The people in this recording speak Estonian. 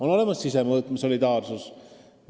On olemas ka sisemõõtme solidaarsus.